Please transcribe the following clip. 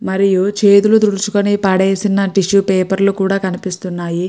మరియు చేతులు తుడుచుకుని పడేసిన టిష్యూ పేపర్ లు కూడా కనిపిస్తున్నాయి.